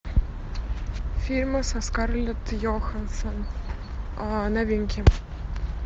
фильмы со скарлетт йоханссон новинки